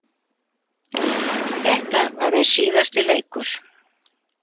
Þetta var minn síðasti leikur.